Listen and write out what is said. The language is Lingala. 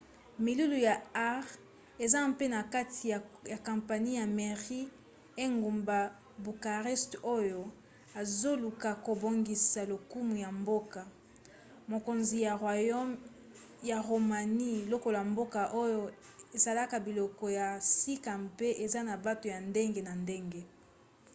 milulu ya art eza mpe na kati ya kampanie ya marie ya engumba bucarest oyo ezoluka kobongisa lokumu ya mboka-mokonzi ya roumanie lokola mboka oyo esalaka biloko ya sika mpe eza na bato ya ndenge na ndenge